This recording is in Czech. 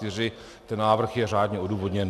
Ten návrh je řádně odůvodněn.